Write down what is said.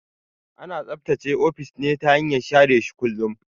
Ana tsaftace ofis ne ta hanyar share shi kullun.